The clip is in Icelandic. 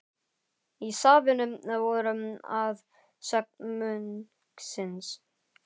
Í safninu voru að sögn munksins